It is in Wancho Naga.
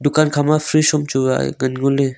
dukan kha ma fridge sam chu ngan ngo le.